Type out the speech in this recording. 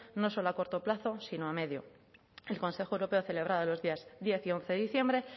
no solo a corto plazo sino a medio el consejo europeo celebrado los días diez y once de diciembre